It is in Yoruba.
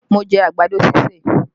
Mo jẹ àgbàdo ṣíṣè